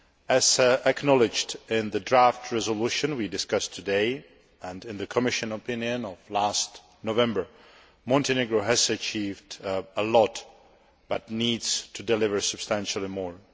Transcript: As acknowledged in the draft resolution we discussed today and in the Commission opinion of last November, Montenegro has achieved a lot but needs to deliver substantially more.